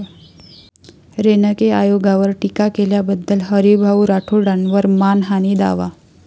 रेणके आयोगावर टीका केल्याबद्दल हरीभाऊ राठोडांवर मानहानी दावा